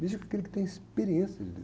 Místico é aquele que tem experiência de Deus.